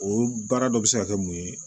O baara dɔ bɛ se ka kɛ mun ye